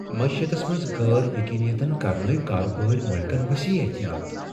معیشتس منز غیر یقینیتن کرنٲوۍ کاربٲرۍ مٲلِکن وسیع احتیاط ۔